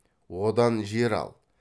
одан жер ал